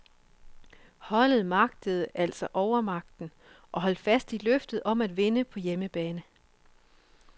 Holdet magtede altså overmagten, og holdt fast i løftet om at vinde på hjemmebane.